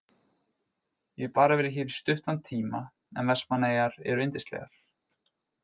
Ég hef bara verið hér í stuttan tíma en Vestmannaeyjar eru yndislegar.